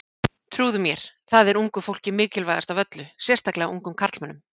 Trúðu mér, það er ungu fólki mikilvægast af öllu, sérstaklega ungum karlmönnum.